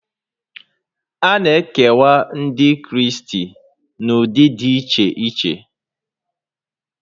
A na-ekewa Ndị Kraịst n'ụdị dị iche iche